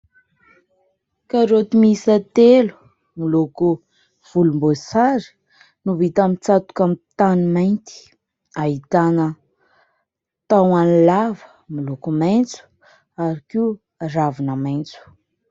Karaoty miisa telo miloko volomboasary no vita mitsatoka amin'ny tany mainty, ahitana tahony lava miloko maitso ary koa ravina maitso.